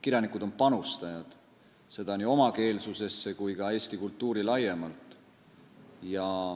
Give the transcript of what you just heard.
Kirjanikud on panustajad, seda nii omakeelsusesse kui ka eesti kultuuri laiemalt.